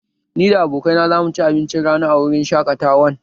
Ni da abokaina za mu ci abincin rana a wurin shaƙatawan